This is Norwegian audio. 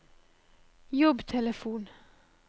jobbtelefon